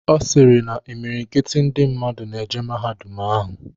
Ọ sịrị na imilikiti ndị mmadụ na-eje mahadum ahụ.